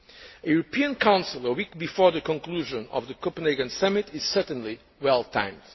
A European Council a week before the conclusion of the Copenhagen Summit is certainly well timed.